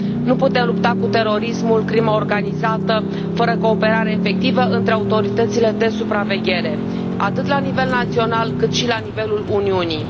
Nu putem lupta cu terorismul, crima organizată, fără cooperare efectivă între autoritățile de supraveghere atât la nivel național, cât și la nivelul Uniunii.